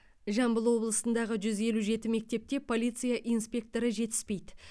жамбыл облысындағы жүз елу жеті мектепте полиция инспекторы жетіспейді